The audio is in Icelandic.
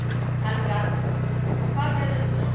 Helga Arnardóttir: Og hvað gerðist svo?